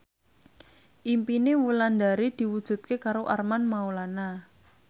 impine Wulandari diwujudke karo Armand Maulana